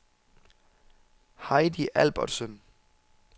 Heidi Albertsen